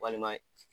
Walima